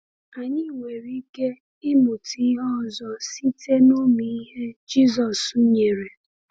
Anyị nwere ike ịmụta ihe ọzọ site n’ụmụ ihe Jisọs nyere.